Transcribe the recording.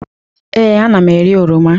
Ee, ana m eri oroma.